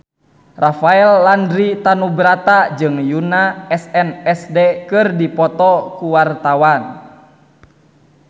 Rafael Landry Tanubrata jeung Yoona SNSD keur dipoto ku wartawan